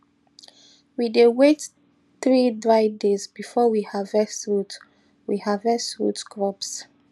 we dey wait three dry days before we harvest root we harvest root crops